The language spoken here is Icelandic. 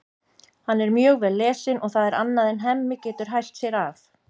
Hann er mjög vel lesinn og það er annað en Hemmi getur hælt sér af.